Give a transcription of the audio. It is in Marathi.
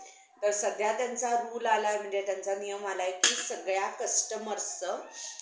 अन मग आता विचारेल मी, pappa चं pappa चं विचारत होते तुझ्या friend ला विचार म्हणून. ते शेतकरी~ शेतकऱ्याचं ते कर्ज कसं काढायचं काय नाय.